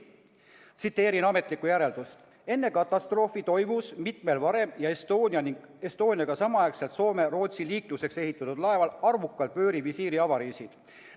Tsiteerin ametlikku järeldust: "Enne ESTONIA katastroofi toimus mitmel varem ja ESTONIAga samaaegselt Soome/Rootsi liikluseks ehitatud laeval arvukalt vöörivisiiri avariisid.